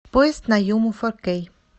поезд на юму фор кей